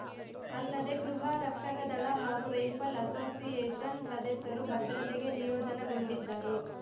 ಅಲ್ಲದೆ ಗೃಹ ರಕ್ಷಕದಳ ಹಾಗೂ ರೈಫಲ್‌ ಅಸೋಸಿಯೇಷನ್‌ ಸದಸ್ಯರೂ ಭದ್ರತೆಗೆ ನಿಯೋಜನೆಗೊಂಡಿದ್ದರು